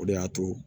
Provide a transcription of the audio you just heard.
O de y'a to